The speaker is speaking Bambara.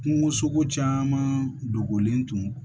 Kungosogo caman dogolen tun